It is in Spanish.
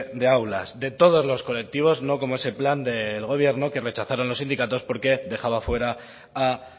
de aulas de todos los colectivos no como ese plan del gobierno que rechazaron los sindicatos porque dejaban fuera a